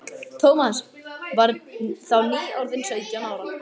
Thomas var þá nýorðinn sautján ára.